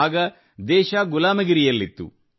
ಆಗ ದೇಶ ಗುಲಾಮಗಿರಿಯಲ್ಲಿತ್ತು